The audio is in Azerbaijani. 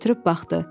Götürüb baxdı.